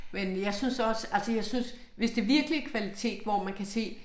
Men jeg synes også altså jeg synes hvis det virkelig kvalitet hvor man kan se